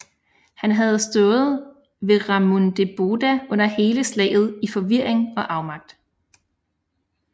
Han havde stået ved Ramundeboda under hele slaget i forvirring og afmagt